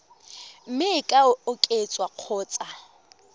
mme e ka oketswa kgotsa